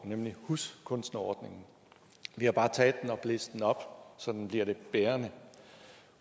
nemlig huskunstnereordningen vi har bare taget den og blæst den op så den bliver lidt bærende